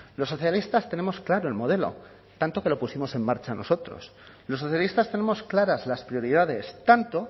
los socialistas tenemos claro el modelo tanto que lo pusimos en marcha nosotros los socialistas tenemos claras las prioridades tanto